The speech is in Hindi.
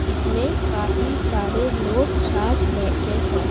इसमें काफी सारे लोग साथ बैठे हैं।